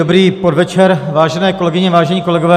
Dobrý podvečer, vážené kolegyně, vážení kolegové.